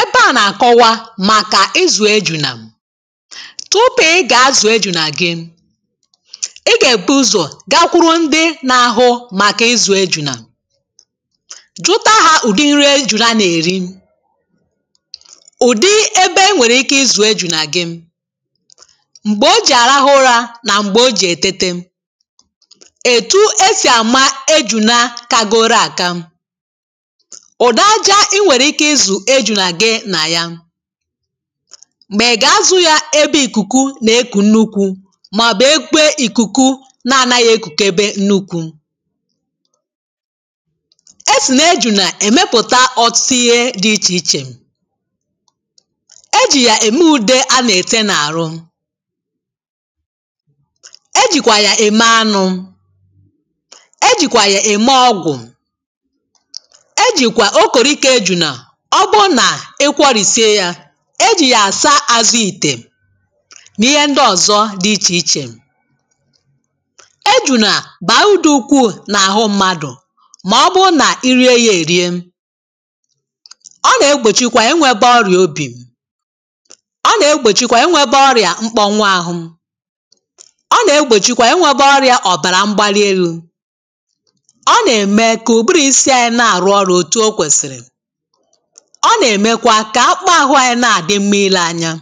Ebe à nà-àkọwa màkà ịzụ̀ ejunà, tupu ị gà-azụ̀ ejunà gị, ị gà-èbu ụzọ̀ gakwuru ndị n’ahụ màkà ịzụ̀ ejunà, jụtà hà udị nri ejunà nà-èri, udị ebe enwèrè ike ịzụ̀ ejunà gị, m̀gbè o jì àrahụ ụrȧ nà m̀gbè o jì ètete, etu esi àma ejunà kagoro àka, ụdị aja inwere ike izu ejunà gị nà ya, ma ịga azù ya ebe ìkùkù nà-ekù nnukwu màobu ebe ìkùkù na-anaghị̇ ekùkebe nnukwu, e sì nà-ejunà èmepùta ọtụtụ ìhè dị ichè ichè, ejì yà ème udė a nà-ète n’àrụ, ejìkwà yà ème anụ̇, ejìkwà yà ème ọgwụ̀, ejikwa okoriko ejùnà ọ bụrụ na ị kwọrìsie ya ejì yà àsaa azụ̀ ìtè, nà ihe ndị ọ̀zọ dị ichè ichè. Ejùnà bàà udù ukwu̇ nà-àhụ mmadụ̀ mà ọ bụrụ nà irie yȧ èri, ọ nà-egbòchikwa inwėtȧ ọrị̀à obì, ọ nà-egbòchikwa inwėtȧ ọrị̀à mkpọnwa ahụ, ọ nà-egbòchikwa inwėtȧ ọrị̀à ọ̀bàrà mgbali elu̇, ọ nà-ème kà ùbụrụ isi anyị na-àrụ ọrụ̇ otú okwesiri, ọ nà-èmekwa kà akpụkpọ ahụ̇ anyị na-àdị mmȧ ile anya,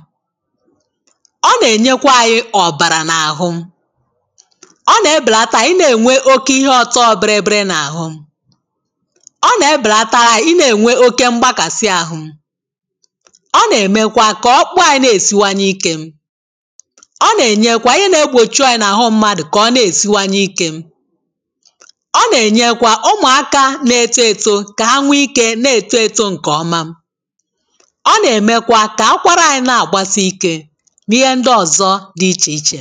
ọ nà-ènyekwa anyị ọ̀bàrà n’àhụ, ọ nà-ebèlàtà ị nà-ènwe oke ihe ọtọọ biri biri n’àhụ, ọ nà-ebèlàtàra ị nà-ènwe oke mgbakàsị ahụ̇, ọ nà-èmekwa kà ọkpụkpọ anyị na-èsiwanye ikė, ọ nà-ènyekwa ihe na-egbòchi oyė n’àhụ mmadụ̀ kà ọ na-èsiwanye ikė, ọ nà-ènyekwa ụmụ̀aka na-eto eto ka ha nwe ike n'eto eto nke ọma, ọ na-emekwa ka akwara anyị na-agbasị ike n’ihe ndị ọzọ dị iche iche.